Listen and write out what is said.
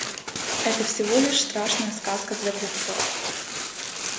это всего лишь страшная сказка для глупцов